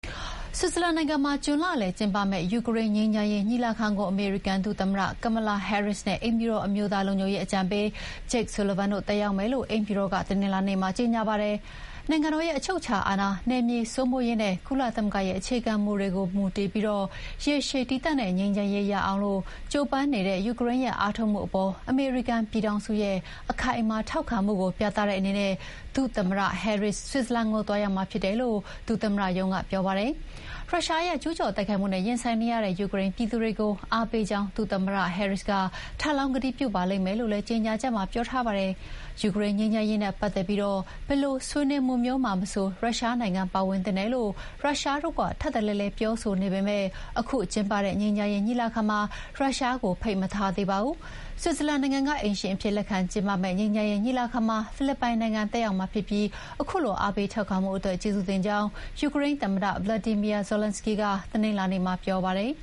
ဆွစ်ဇာလန်နိုင်ငံမှာကျင်းပမယ့် ယူကရိန်းငြိမ်းချမ်းရေးညီလာခံကို အမေရိကန်ဒုသမ္မတ Kamala Harris နဲ့ အိမ်ဖြူတော်အမျိုးသားလုံခြုံရေးအကြံပေး Jake Sullivan တို့တက်ရောက်မယ်လို့ အိမ်ဖြူတော်က တနင်္လာနေ့မှာ ကြေညာပါတယ်။ နိုင်ငံတော်ရဲ့အချုပ်အခြာအာဏာ၊ နယ်မြေစိုးမိုးရေးနဲ့ ကုလသမဂ္ဂရဲ့ အခြေခံမူတွေကိုမူတည်ပြီး ရေရှည်တည်တံ့တဲ့ငြိမ်းချမ်းရေးရအောင် ကြိုးပမ်းနေတဲ့ ယူကရိန်းရဲ့အားထုတ်မှုအပေါ် အမေရိကန်ပြည်ထောင်စုရဲ့ အခိုင်အမာထောက်ခံမှုကိုပြသတဲ့အနေနဲ့ ဒုသမ္မတ Harris ဆွစ်ဇာလန်ကိုသွားရောက်မှာဖြစ်တယ်လို့ ဒုသမ္မတရုံးကပြောပါတယ်။ ရုရှားရဲ့ကျူးကျော်တိုက်ခိုက်မှုနဲ့ရင်ဆိုင်နေရတဲ့ ယူကရိန်းပြည်သူတွေကို အားပေးကြောင်း ဒုသမ္မတ Harris က ထပ်လောင်းကတိပြုပါလိမ့်မယ်လို့လည်း ကြေညာချက်မှာပြောထားပါတယ်။ ယူကရိန်းငြိမ်းချမ်းရေးနဲ့ပတ်သက်ပြီး ဘယ်လိုဆွေးနွေးမှုမျိုးမှာမဆို ရုရှားနိုင်ငံပါဝင်သင့်တယ်လို့ ရုရှားတို့က ထပ်တလဲလဲပြောဆိုနေပေမဲ့ ခုကျင်းပမယ့် ငြိမ်းချမ်းရေးညီလာခံမှာ ရုရှားကို ဖိတ်မထားသေးပါဘူး။ ဆွစ်ဇာလန်နိုင်ငံက အိမ်ရှင်အဖြစ်လက်ခံကျင်းပမယ့် ငြိမ်းချမ်းရေးညီလာခံမှာ ဖိလစ်ပိုင်နိုင်ငံတက်ရောက်မှာဖြစ်ပြီး ခုလိုအားပေးထောက်ခံမှုအတွက် ကျေးဇူးတင်ကြောင်း ယူကရိန်းသမ္မတ Volodymyr Zelenskyy က တနင်္လာနေ့မှာ ပြောပါတယ်